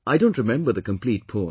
I don't remember the complete poem